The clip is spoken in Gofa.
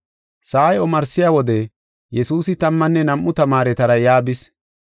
Sa7ay omarsiya wode Yesuusi tammanne nam7u tamaaretara yaa bis.